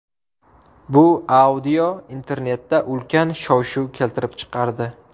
Bu audio internetda ulkan shovshuv keltirib chiqardi.